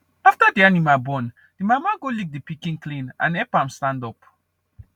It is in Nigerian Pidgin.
after the animal born the mama go lick the pikin clean and help am stand up